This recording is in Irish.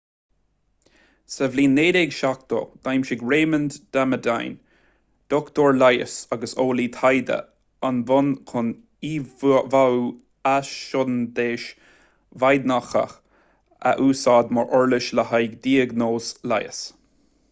sa bhliain 1970 d'aimsigh raymond damadian dochtúir leighis agus eolaí taighde an bonn chun íomháú athshondais mhaighnéadach a úsáid mar uirlis le haghaidh diagnóis leighis